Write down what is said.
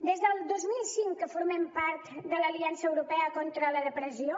des del dos mil cinc que formem part de l’aliança europea contra la depressió